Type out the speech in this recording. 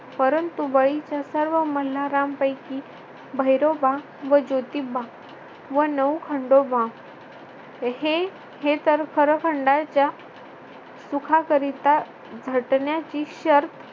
परंतु बळीच्या सर्व मल्हारांपैकी भैरोबा व ज्योतिबा व नऊ खंडोबा हे हे तर खरं खंडाच्या सुखाकरिता झटण्याची शर्त